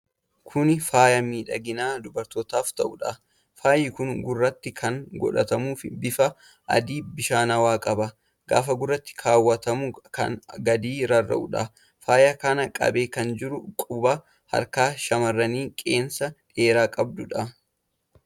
Kuni faaya midhagina dubartootaaf ta'udha. faayi kun gurratti kan godhatamuudha. bifa adii bishaanawaa qaba. gaafa gurratti kaawwatamu kan gadi rarra'uudha. Faaya kana qabee kan jiru quba harkaa shammarranii qeensa dhedheeraa qabuudha.